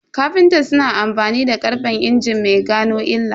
Kafinta suna amfani da karfen injin mai gano illa